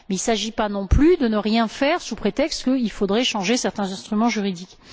Il ne s'agit pas, non plus, de ne rien faire sous prétexte qu'il faudrait changer certains instruments juridiques.